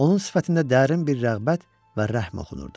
Onun sifətində dərin bir rəğbət və rəhm oxunurdu.